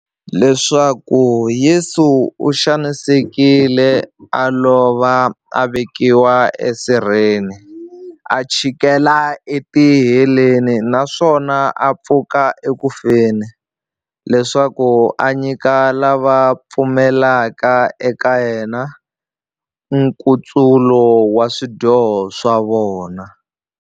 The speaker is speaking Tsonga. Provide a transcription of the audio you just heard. Leswaku Yesu u xanisekile, a lova, a vekiwa e sirheni, a chikela e tiheleni, naswona a pfuka eku feni, leswaku a nyika lava va pfumelaka eka yena, nkutsulo wa swidyoho swa vona.